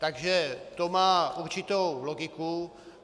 Takže to má určitou logiku.